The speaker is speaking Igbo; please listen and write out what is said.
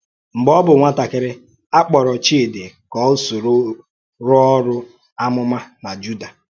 Mgbe ọ bụ̀ nwátàkìrì, a kpọ̀rọ̀ Chídì ka ọ sòrò rùo orù àmùmá n’Júdà